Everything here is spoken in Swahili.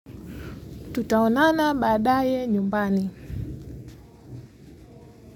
Tutaonana baadaye nyumbani.